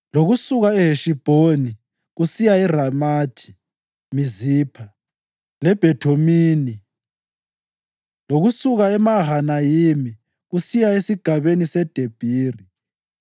lokusuka eHeshibhoni kusiya eRamathi Mizipha leBhethonimi, lokusuka eMahanayimi kusiya esigabeni seDebhiri;